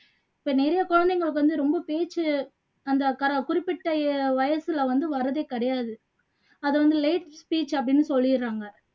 இப்போ நிறைய குழந்தைங்களுக்கு வந்து ரொம்ப பேச்சு அந்த கர குறிப்பிட்ட வயசுல வந்து வர்றதே கிடையாது அது வந்த late speech அப்படின்னு சொல்லிடுறாங்க